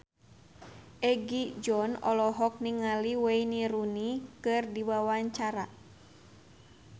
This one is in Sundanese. Egi John olohok ningali Wayne Rooney keur diwawancara